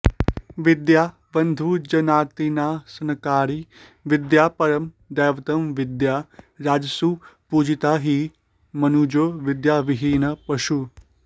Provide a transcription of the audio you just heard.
विद्या बन्धुजनार्तिनाशनकरी विद्या परं दैवतं विद्या राजसु पूजिता हि मनुजो विद्यविहीनः पशुः